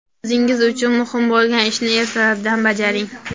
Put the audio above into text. O‘zingiz uchun muhim bo‘lgan ishni ertalabdan bajaring.